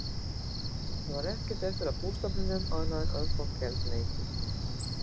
Það var ekkert eftir af bústofninum annað en örfá geldneyti.